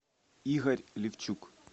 игорь левчук